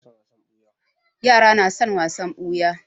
Yara na son wasan ɓuya